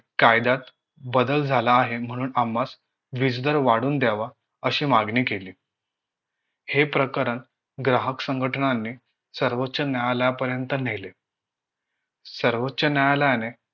कायद्यात बदल झाला आहे म्हणून आम्हास वीज दर वाढवून द्यावा अशी मागणी केली हे प्रकरण ग्राहक संघटनांनी सर्वोच्च न्यायालयापर्यंत नेले सर्वोच्च न्यायालयाने